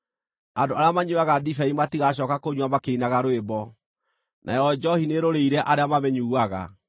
Andũ arĩa manyuuaga ndibei matigacooka kũnyua makĩinaga rwĩmbo, nayo njoohi nĩĩrũrĩire arĩa mamĩnyuuaga.